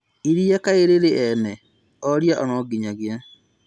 iria kaĩ rĩrĩ ene".... Oiria nonginyagia